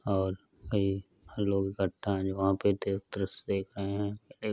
और ये इकट्ठा हैं वहाँ पे देव द्रश्य देख रहे हैं। एक --